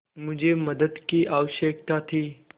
मुझे मदद की आवश्यकता थी